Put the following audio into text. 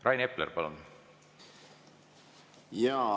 Rain Epler, palun!